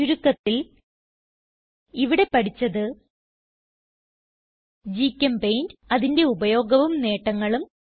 ചുരുക്കത്തിൽ ഇവിടെ പഠിച്ചത് ഗ്ചെമ്പെയിന്റ് അതിന്റെ ഉപയോഗവും നേട്ടങ്ങളും